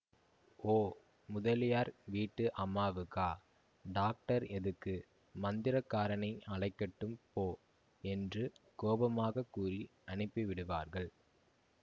ஓ முதலியார் வீட்டு அம்மாவுக்கா டாக்டர் எதுக்கு மந்திரக்காரனை அழைக்கட்டும் போ என்று கோபமாகக் கூறி அனுப்பிவிடுவார்கள்